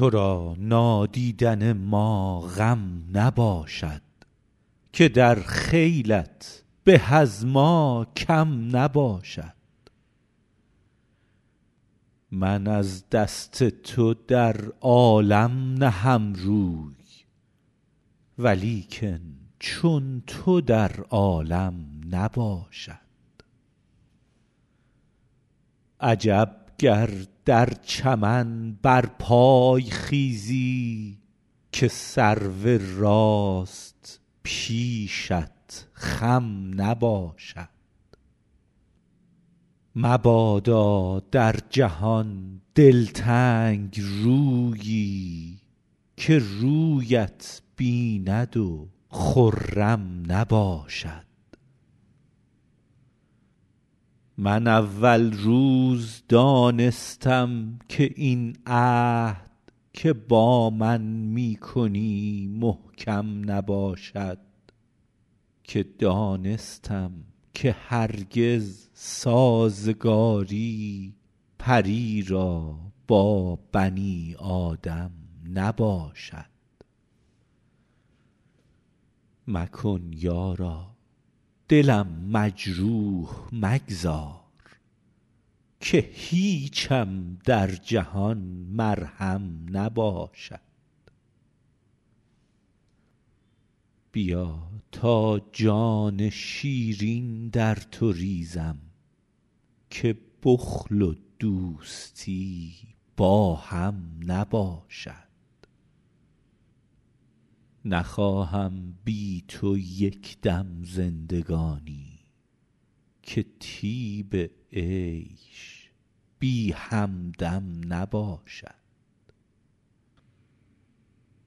تو را نادیدن ما غم نباشد که در خیلت به از ما کم نباشد من از دست تو در عالم نهم روی ولیکن چون تو در عالم نباشد عجب گر در چمن برپای خیزی که سرو راست پیشت خم نباشد مبادا در جهان دلتنگ رویی که رویت بیند و خرم نباشد من اول روز دانستم که این عهد که با من می کنی محکم نباشد که دانستم که هرگز سازگاری پری را با بنی آدم نباشد مکن یارا دلم مجروح مگذار که هیچم در جهان مرهم نباشد بیا تا جان شیرین در تو ریزم که بخل و دوستی با هم نباشد نخواهم بی تو یک دم زندگانی که طیب عیش بی همدم نباشد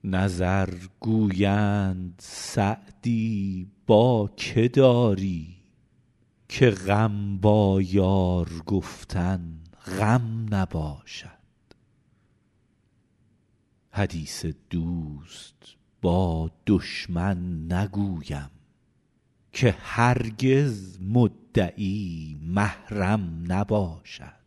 نظر گویند سعدی با که داری که غم با یار گفتن غم نباشد حدیث دوست با دشمن نگویم که هرگز مدعی محرم نباشد